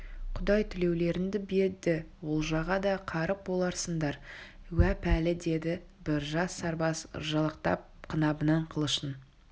құдай тілеулеріңді берді олжаға да қарық боларсыңдар уә пәлі деді бір жас сарбаз ыржалақтап қынабынан қылышын